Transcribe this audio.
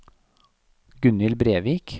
Gunhild Brevik